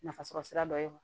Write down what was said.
Nafasɔrɔ sira dɔ ye